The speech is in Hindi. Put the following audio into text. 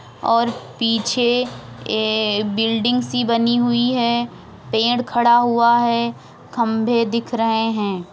और पीछे ए बिल्डिंग सी बनी हुई है। पेड़ खड़ा हुआ है। खम्बे दिख रहें है।